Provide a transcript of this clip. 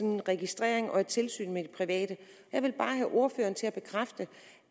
en registrering af og et tilsyn med de private jeg vil bare have ordføreren til at bekræfte